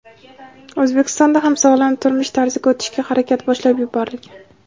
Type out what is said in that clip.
O‘zbekistonda ham sog‘lom turmush tarziga o‘tishga harakat boshlab yuborilgan.